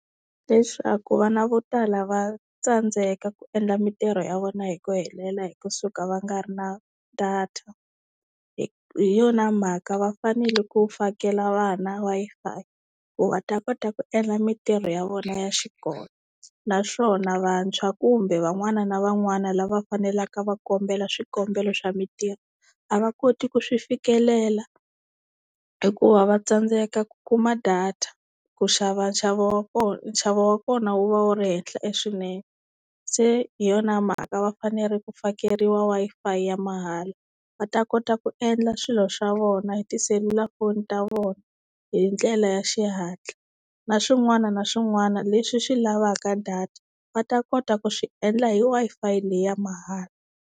Leswaku vana vo tala va tsandzeka ku endla mintirho ya vona hi ku helela hi kusuka va nga ri na data. Hi hi yona mhaka va fanele ku fakela vana Wi-Fi ku va ta kota ku endla mintirho ya vona ya xikolo. Naswona vantshwa kumbe van'wana na van'wana lava fanelaka va kombela swikombelo swa mintirho a va koti ku swi fikelela, hikuva va tsandzeka ku kuma data, ku xava nxavo wa kona nxavo wa kona wu va wu ri henhla e swinene. Se hi yona mhaka va fanele ku fakeriwa Wi-Fi ya mahala va ta kota ku endla swilo swa vona hi tiselulafoni ta vona, hi ndlela ya xihatla na swin'wana na swin'wana leswi swi lavaka data va ta kota ku swi endla hi Wi-Fi leyi ya mahala.